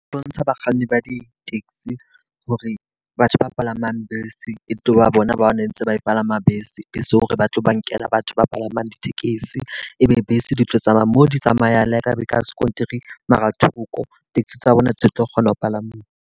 Bontsha bakganni ba di-taxi hore batho ba palamang bese e tlo ba bona ba ntse ba palama bese. E so hore ba tlo ba nkela batho ba palamang ditekesi. E be bese di tlo tsamaya mo di tsamayang le ka be ka sekontiri mara thoko. Taxi tsa bona tse tlo kgona ho palama.